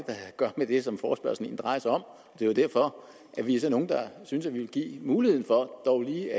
gøre med det som forespørgslen egentlig drejer sig om det er jo derfor vi er nogle der synes at vi vil give mulighed for dog lige